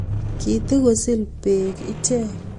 Kitigosil beek ichek